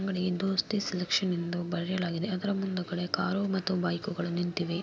ಅಂಗಡಿ ದೋಸ್ತಿ ಸೆಲೆಕ್ಷನ್ ಎಂದು ಬರೆಯಲಾಗಿದೆ ಅದರ ಮುಂದಗಡೆ ಕಾರು ಮತ್ತೆ ಬೈಕುಗಳು ನಿಂತಿವೆ.